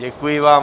Děkuji vám.